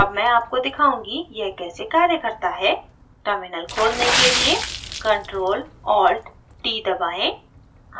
अब मैं आपको दिखाऊँगी यह कैसे ctrl करता है terminal खोलने के लिए ctrl + alt + t दबाएँ